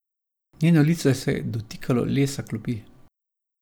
Njeno lice se je dotikalo lesa klopi.